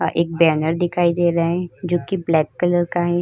एक बैनर दिखाई दे रहा है जोकि ब्लैक कलर का है।